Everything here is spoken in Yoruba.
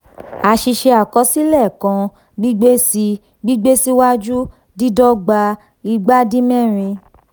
àṣìṣe àkọsílẹ̀ kan gbígbésí gbígbé síwájú dídọ́gba igbádínmẹ́rin.